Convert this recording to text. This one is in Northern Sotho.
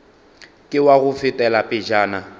ke wa go fetela pejana